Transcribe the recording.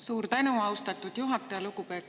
Suur tänu, austatud juhataja!